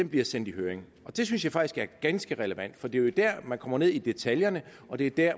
bliver sendt i høring det synes jeg faktisk er ganske relevant for det der man kommer ned i detaljerne og det er der